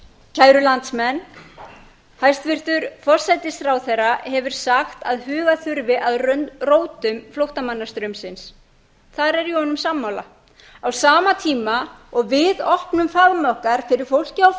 kæru landsmenn hæstvirtur forsætisráðherra hefur sagt að huga þurfi að rótum flóttamannastraumsins þar er ég honum sammála á sama tíma og við opnum faðm okkar fyrir fólki